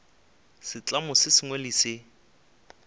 setlamo se sengwe le se